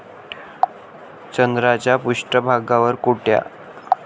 चंद्राच्या पृष्ठभागावर कोट्या